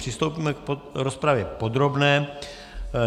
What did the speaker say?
Přistoupíme k rozpravě podrobné.